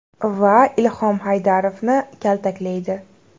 va Ilhom Haydarovni kaltaklaydi.